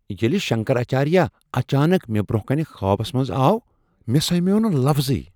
ییٚلہ شنکراچاریہ اچانک مےٚ برٛونٛہہ کنہ خوابس منٛز آو ،مےٚ سمیوو نہ لفظٕے۔